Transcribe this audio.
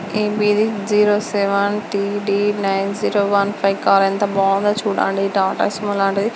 AP ఇది zero seven T D nine zero one five car ఎంతో బాగుంది చుడండి.టాటా సుమో లాంటిది.